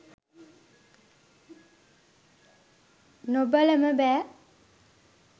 නොබලම බෑ.